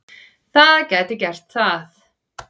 Það gæti gert það.